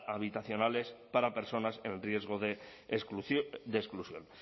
habitacionales para personas en riesgo de exclusión de exclusión